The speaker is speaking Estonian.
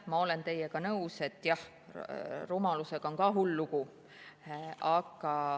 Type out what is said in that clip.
Ma olen teiega nõus, et jah, rumalusega on ka hull lugu.